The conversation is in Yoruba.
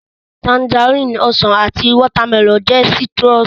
Tangerine, Ọsàn àti watermelon jẹ́ citrus